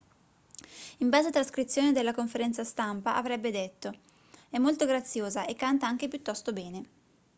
in base a trascrizione della conferenza stampa avrebbe detto è molto graziosa e canta anche piuttosto bene